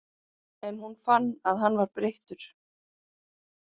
En hún fann að hann var breyttur.